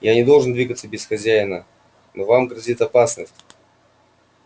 я не должен двигаться без хозяина но вам грозит опасность